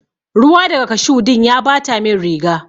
Ruwa daga cashew din ya Bata min riga.